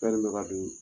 Fɛn bɛ ka don